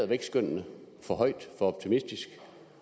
vækstskønnene for højt for optimistisk